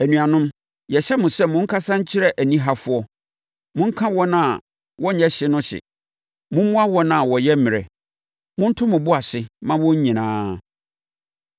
Anuanom, yɛhyɛ mo sɛ, monkasa nkyerɛ anihafoɔ, monka wɔn a wɔnyɛ hye no hye; mommoa wɔn a wɔyɛ mmerɛ; monto mo bo ase mma wɔn nyinaa.